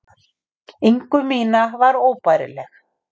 ingu mína var óbærileg.